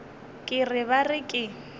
ke re ba re ke